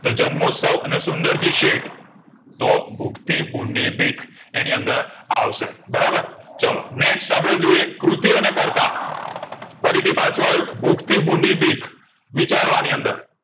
તો જન્મોત્સ્વ સુન્દેરજી શેઠ તો ભૂખ થી ભૂંડી બીક એની અંદર આવશે બરાબર ચલો next અપડે જોઈએ કૃતિ અને કરતા ફરીથી પાછું આવ્યું ભૂખ થી ભૂંડી બીક વિચારો આની અંદર